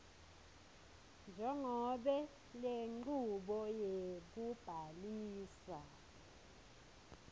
njengobe lenchubo yekubhalisa